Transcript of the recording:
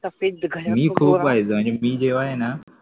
सफेत घर ना मी खूप पाहायचो म्हणजे मी जेव्हा ना